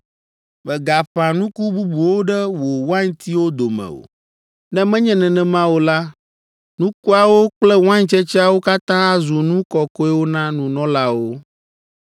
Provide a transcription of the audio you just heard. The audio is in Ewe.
“Mègaƒã nuku bubuwo ɖe wò waintiwo dome o; ne menye nenema o la, nukuawo kple waintsetseawo katã azu nu kɔkɔewo na nunɔlawo.